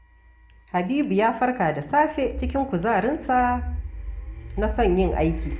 Habibu ya farka da safe cikin kuzarinsa na son yin aiki